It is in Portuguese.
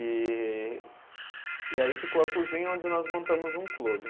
E e aí ficou a cozinha onde nós montamos um clube.